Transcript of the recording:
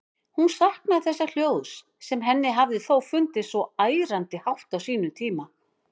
Hún saknaði þessa hljóðs, sem henni hafði þó fundist svo ærandi hátt á sínum tíma.